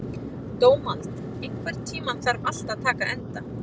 Dómald, einhvern tímann þarf allt að taka enda.